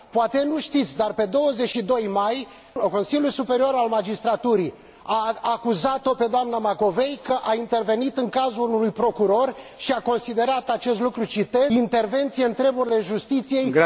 Poate nu știți, dar, pe 22 mai, Consiliul Superior al Magistraturii a acuzat o pe doamna Macovei că a intervenit în cazul unui procuror și a considerat acest lucru intervenție în treburile justiției și subminare...